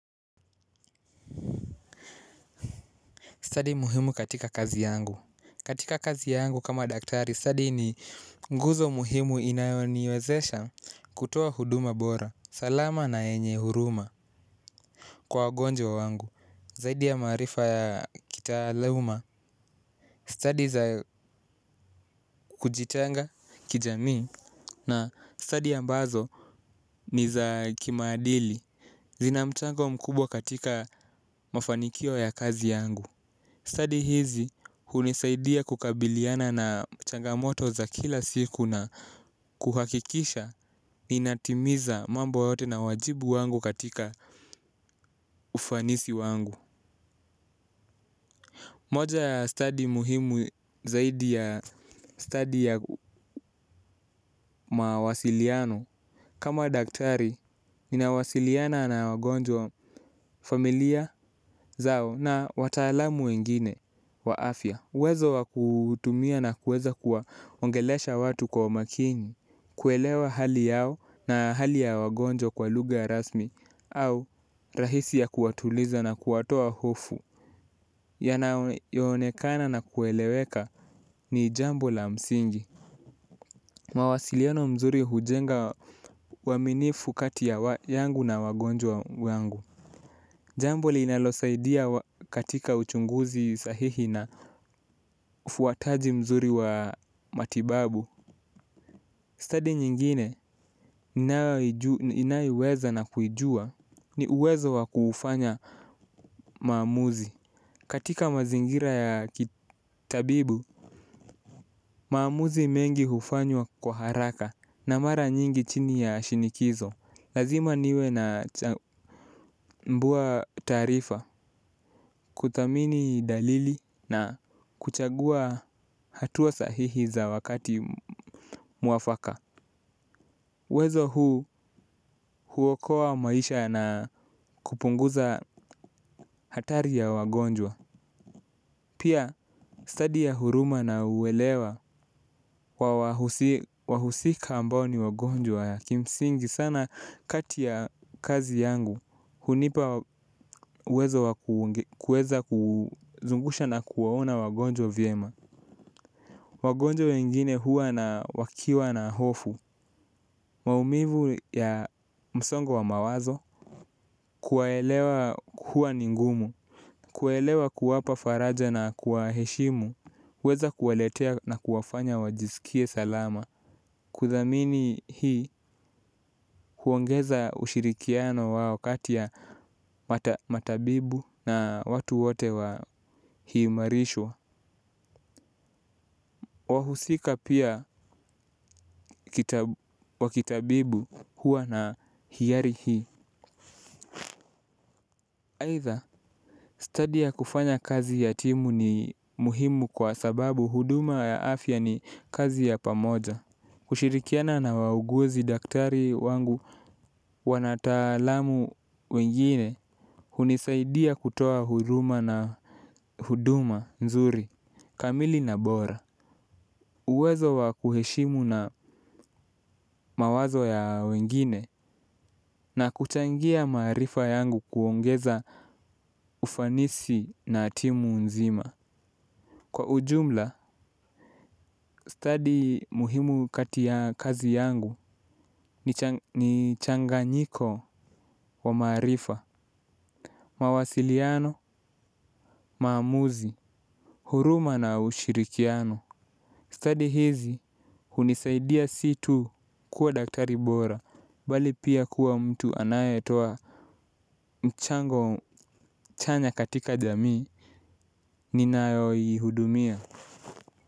Stadi muhimu katika kazi yangu. Katika kazi yangu kama daktari. Stadi ni nguzo muhimu inayoniwezesha kutoa huduma bora. Salama na enye huruma. Kwa wagonjwa wangu. Zaidi ya maarifa yao ya kitaaluma. Stadi za kujitenga kijamii na stadi ambazo ni za kimaadili. Zina mchango mkubwa katika mafanikio ya kazi yangu. Stadi hizi hunisaidia kukabiliana na changamoto za kila siku na kuhakikisha inatimiza mambo yote na wajibu wangu katika ufanisi wangu. Moja ya stadi muhimu zaidi ya stadi yangu mawasiliano. Kama daktari, ninawasiliana na wagonjwa familia zao na wataalamu wengine wa afya. Uwezo wa kutumia na kuweza kuwa ongelesha watu kwa umakini kuelewa hali yao na hali ya wagonjwa kwa lugha rasmi au rahisi ya kuwatuliza na kuwatoa hofu. Yanayo onekana na kueleweka ni jambo la msingi mawasiliano mzuri hujenga uaminifu kati yangu na wagonjwa wangu. Jambo linalosaidia katika uchunguzi sahihi na ufuataji mzuri wa matibabu. Stadi nyingine inayoiweza na kujua ni uwezo wa kufanya maamuzi. Katika mazingira ya kitabibu, maamuzi mengi hufanywa kwa haraka na mara nyingi chini ya shinikizo. Lazima niwe na mbuwa taarifa, kuthamini dalili na kuchagua hatua sahihi za wakati mwafaka. Wezo huu huokoa maisha na kupunguza hatari ya wagonjwa. Pia stadi ya huruma na uelewa wahusika ambao ni wagonjwa ya kimsingi sana kati ya kazi yangu hunipa uwezo wa kuweza kuzungusha na kuwaona wagonjwa vyema. Wagonjwa wengine huwa na wakiwa na hofu. Maumivu ya msongo wa mawazo kuwaelewa huwa ni ngumu. Kuwaelewa kuwapa faraja na kuwa heshimu weza kuwaletea na kuwafanya wajisikie salama. Kuthamini hii huongeza ushirikiano wao kati ya matabibu na watu wote wa hii marishwa. Wahusika pia wa kitabibu huwa na hiari hii aidha, stadi ya kufanya kazi ya timu ni muhimu kwa sababu huduma ya afya ni kazi ya pamoja. Kushirikiana na wauguzi daktari wangu wanataalamu wengine hunisaidia kutoa huduma na huduma nzuri, kamili na bora. Uwezo wa kuheshimu na mawazo ya wengine na kuchangia maarifa yangu kuongeza ufanisi na timu nzima. Kwa ujumla, stadi muhimu katika kazi yangu ni changanyiko wa maarifa mawasiliano maamuzi huruma na ushirikiano stadi hizi hunisaidia si tu kuwa daktari bora bali pia kuwa mtu anayetoa mchango chanya katika jamii ninayo ihudumia.